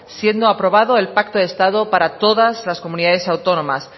siendo aprobado el pacto de estado para todas las comunidades autónomas